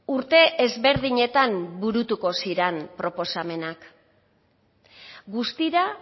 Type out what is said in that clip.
urte ezberdinetan burutuko ziren proposamenak guztira